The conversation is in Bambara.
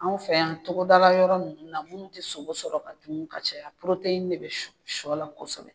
Anw fɛ yan togoda yɔrɔ nunnu na munnu tɛ sogo sɔrɔ ka dun ka caya porote de bɛ shɔla kosɛbɛ.